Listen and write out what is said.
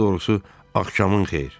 Daha doğrusu, axşamın xeyir.